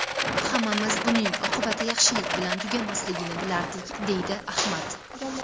Hammamiz buning oqibati yaxshilik bilan tugamasligini bilardik”, deydi Ahmad.